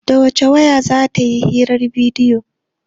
Da wace wayar za ta yi hirar bidiyo?